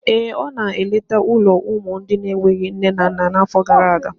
Ee, ọ nọ na-elekọta ụlọ ụmụ ndị na-enweghị nne na nna n'afọ gara aga.